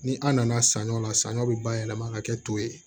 Ni an nana sanɲɔ la sanɲɔ bɛ bayɛlɛma ka kɛ to ye